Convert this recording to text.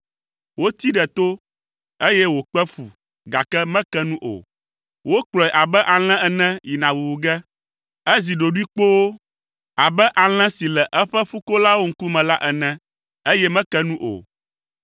Wotee ɖe to, eye wòkpe fu, gake meke nu o. Wokplɔe abe alẽ ene yina wuwu ge. Ezi ɖoɖoe kpoo abe alẽ si le eƒe fukolawo ŋkume la ene, eye meke nu o.